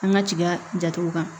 An ka tiga jatw kan